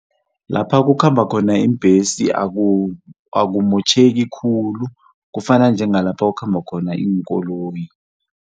Lapha kukhamba khona iimbhesi akumotjheki khulu kufana njengalapha kukhamba khona iinkoloyi.